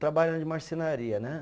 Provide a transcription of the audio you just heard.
Trabalhando de marcenaria, né?